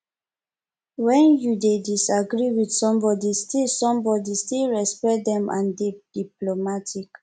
when you dey disagree with somebody still somebody still respect them and dey diplomatic